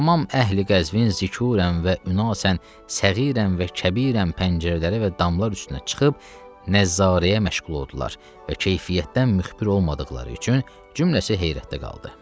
Tamam əhli Qəzvin zükurən və ünasən səğirən və kəbirən pəncərələrə və damlar üstünə çıxıb nəzzarəyə məşğul oldular və keyfiyyətdən müxbir olmadıqları üçün cümləsi heyrətdə qaldı.